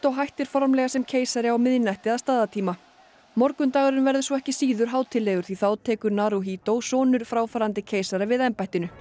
hættir formlega sem keisari á miðnætti að staðartíma morgundagurinn verður svo ekki síður hátíðlegur því þá tekur Naruhito sonur fráfarandi keisara við embættinu